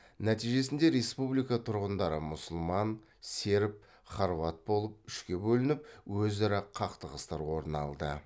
нәтижесінде республика тұрғындары мұсылман серб хорват болып үшке бөлініп өзара қақтығыстар орын алды